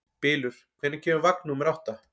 Bylur, hvenær kemur vagn númer átta?